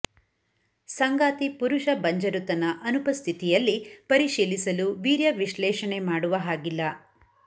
ಸಂಗಾತಿ ಪುರುಷ ಬಂಜರುತನ ಅನುಪಸ್ಥಿತಿಯಲ್ಲಿ ಪರಿಶೀಲಿಸಲು ವೀರ್ಯ ವಿಶ್ಲೇಷಣೆ ಮಾಡುವ ಹಾಗಿಲ್ಲ